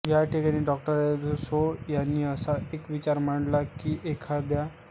याठिकाणी डॉ अल्फान्सो यांनी असा एक विचार मांडला की एखाद्या